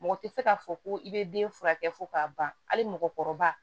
Mɔgɔ tɛ se k'a fɔ ko i bɛ den furakɛ fo k'a ban hali mɔgɔkɔrɔba